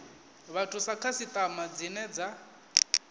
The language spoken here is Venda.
vhathu sa khasiṱama dzine dza